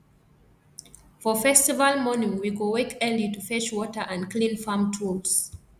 for festival morning we go wake early to fetch water and clean farm tools